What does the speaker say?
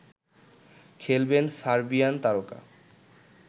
খেলবেন সার্বিয়ান তারকা